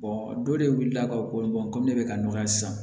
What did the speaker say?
dɔ de wulila ka ko komi ne bɛ ka nɔgɔya sisan